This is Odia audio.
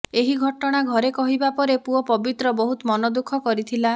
ଏହି ଘଟଣା ଘରେ କହିବା ପରେ ପୁଅ ପବିତ୍ର ବହୁତ ମନଦୁଃଖ କରିଥିଲା